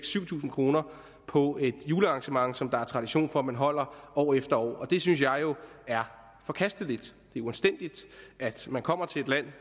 syv tusind kroner på et julearrangement som der er tradition for at man holder år efter år det synes jeg jo er forkasteligt det er uanstændigt at man kommer til et land